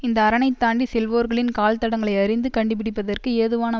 இந்த அரணை தாண்டி செல்வோர்களின் கால் தடங்களை அறிந்து கண்டுபிடிப்பதற்கு ஏதுவான